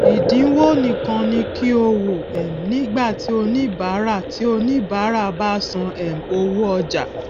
ìdínwo nìkan ni kí o wò um nígbà tí oníbárà tí oníbárà bá san um owó ọjà